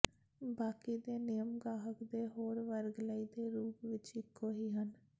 ਬਾਕੀ ਦੇ ਨਿਯਮ ਗਾਹਕ ਦੇ ਹੋਰ ਵਰਗ ਲਈ ਦੇ ਰੂਪ ਵਿੱਚ ਇੱਕੋ ਹੀ ਹਨ